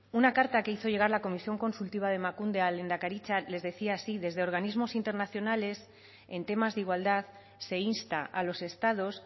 una carta que hizo llegar la comisión consultiva de emakunde a lehendakaritza les decía así desde organismos internacionales en temas de igualdad se insta a los estados